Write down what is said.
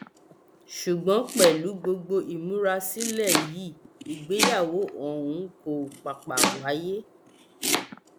ṣùgbọn pẹlú gbogbo ìmúrasílẹ yìí ìgbéyàwó ọhún kò pàpà wáyé